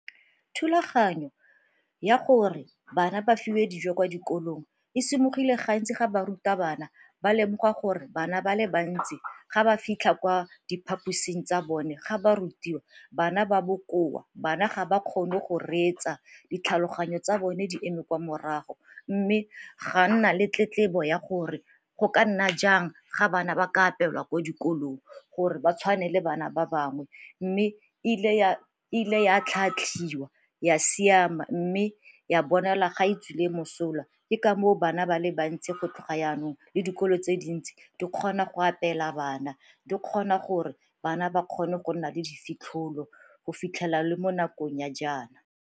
Thulaganyo ya gore bana ba fiwe dijo kwa dikolong e gantsi ga ba ruta bana ba lemoga gore bana ba le bantsi ga ba fitlha kwa diphaposing tsa bone ga ba rutiwa bana ba bokoa, banna ga ba kgone go reetsa, ditlhaloganyo tsa bone di eme kwa morago mme ga nna le tletla tsebo ya gore go ka nna jang ga bana ba ka apewa ko dikolong gore ba tshwane le bana ba bangwe. Mme e ile ya atlhaatlhiwa ya siama mme ya bonala ga e tswile mosola ke ka moo bana ba le bantsi go tloga yanong le dikolo tse dintsi di kgona go apela bana, di kgona gore bana ba kgone go nna le difitlholo go fitlhela le mo nakong ya jaana.